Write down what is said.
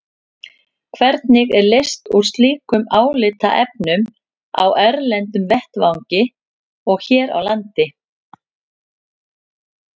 Hvernig er leyst úr slíkum álitaefnum á erlendum vettvangi og hér á landi?